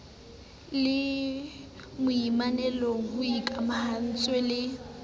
le manollong ho ikamahantswe le